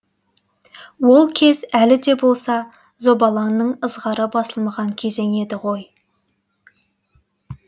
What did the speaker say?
ол кез әлі де болса зобалаңның ызғары басылмаған кезең еді ғой